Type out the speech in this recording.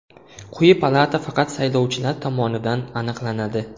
Quyi palata faqat saylovchilar tomonidan aniqlanadi.